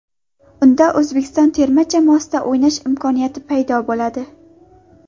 Unda O‘zbekiston terma jamoasida o‘ynash imkoniyati paydo bo‘ladi.